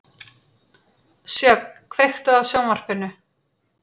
Sjöfn, kveiktu á sjónvarpinu.